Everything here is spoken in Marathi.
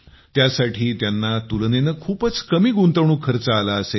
त्यासाठी त्यांना तुलनेनं खूपच कमी गुंतवणूक खर्च आला असेल